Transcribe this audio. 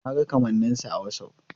Na ga kamanninsa a Whatsapp.